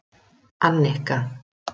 Annika